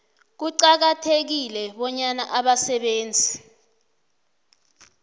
kuqakathekile bonyana abasebenzi